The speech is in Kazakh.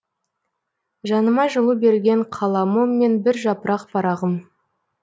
жаныма жылу берген қаламым мен бір жапырақ парағым